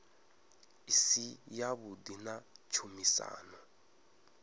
i si yavhuḓi na tshumisano